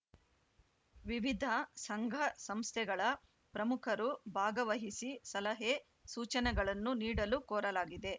ವಿವಿಧ ಸಂಘಸಂಸ್ಥೆಗಳ ಪ್ರಮುಖರು ಭಾಗವಹಿಸಿ ಸಲಹೆಸೂಚನೆಗಳನ್ನು ನೀಡಲು ಕೋರಲಾಗಿದೆ